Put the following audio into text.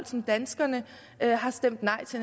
som danskerne har stemt